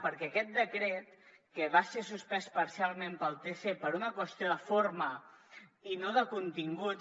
perquè aquest decret que va ser suspès parcialment pel tc per una qüestió de forma i no de continguts